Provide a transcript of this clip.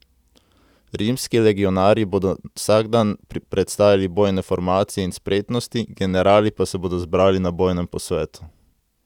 Rimski legionarji bodo vsak dan predstavili bojne formacije in spretnosti, generali pa se bodo zbrali na bojnem posvetu.